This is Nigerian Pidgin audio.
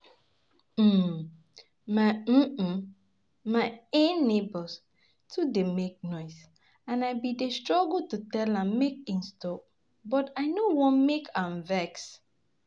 um My um um My um neighbor too dey make noise, and I abi dey struggle to tell am make im stop but I no wan make am vex.